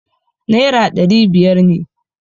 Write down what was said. Naira dari biyar ne.